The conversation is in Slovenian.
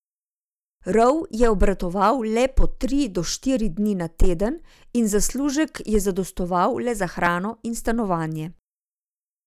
Rov je obratoval le po tri do štiri dni na teden in zaslužek je zadostoval le za hrano in stanovanje.